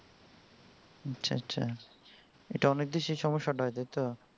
আচ্ছা আচ্ছা ইটা অনেক দেশেই সম্যসা তা হয়েছে তাই তো